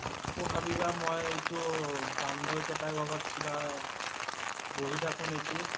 আকৌ ভাবিবা মই ইটো বান্দৰ কেইটা লগত কিবা বহি থাকো নেকি